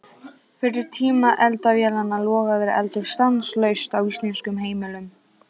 Fyrir tíma eldavélanna logaði eldur stanslaust á íslenskum heimilum.